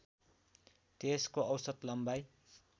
त्यसको औसत लम्बाइ